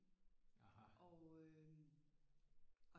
Og øh